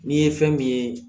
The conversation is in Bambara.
N'i ye fɛn min ye